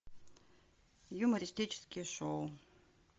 юмористические шоу